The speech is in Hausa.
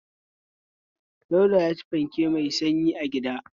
Dauda ya ci fanke mai sanyi a gida.